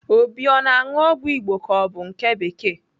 Obi ọ na-aṅụ ọgwụ Igbo ka ọ bụ nke bekee?